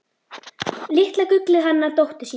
Litla gullið hana dóttur sína.